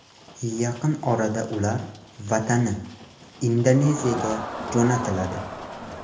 Yaqin orada ular vatani, Indoneziyaga jo‘natiladi.